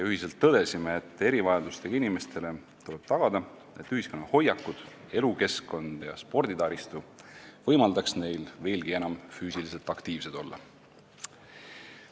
Tõdesime ühiselt, et erivajadustega inimestele tuleb tagada see, et ühiskonna hoiakud, elukeskkond ja sporditaristu võimaldaks neil veelgi enam füüsiliselt aktiivsed olla.